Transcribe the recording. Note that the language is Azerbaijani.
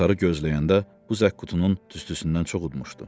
Qatarı gözləyəndə bu zəkkutunun tüstüsündən çox udmuşdu.